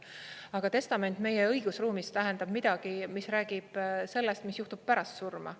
Aga testament meie õigusruumis tähendab midagi, mis räägib sellest, mis juhtub pärast surma.